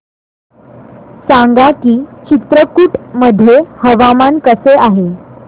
सांगा की चित्रकूट मध्ये हवामान कसे आहे